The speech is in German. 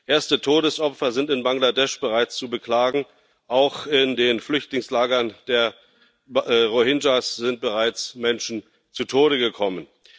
Erste Todesopfer sind in Bangladesch bereits zu beklagen. Auch in den Flüchtlingslagern der Rohingya sind bereits Menschen zu Tode gekommen.